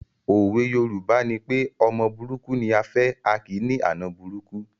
Òwe Yorùbá nipé ọmọ burúkú ni à á fẹ̀, a kì í ní àna burúkú